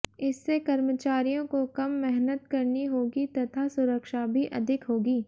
इससे कर्मचारियों को कम मेहनत करनी होगी तथा सुरक्षा भी अधिक होगी